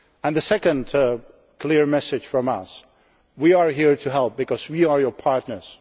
agreement. The second clear message from us is that we are here to help because we are your